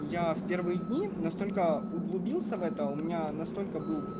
я в первые дни настолько углубился в это у меня настолько был